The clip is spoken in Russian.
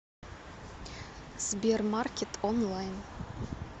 сбер маркет онлайн